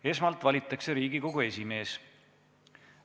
Esmalt valitakse Riigikogu esimees.